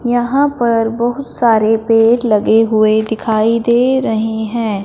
यहां पर बहुत सारे पेड़ लगे हुए दिखाई दे रहे हैं।